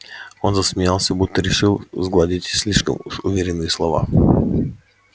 он засмеялся будто решил сгладить слишком уж уверенные слова